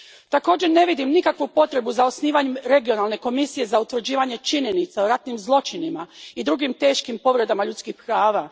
Također, ne vidim nikakvu potrebu za osnivanjem regionalne komisije za utvrđivanje činjenica o ratnim zločinima i drugim teškim povredama ljudskih prava.